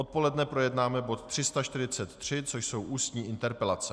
Odpoledne projednáme bod 343, což jsou ústní interpelace.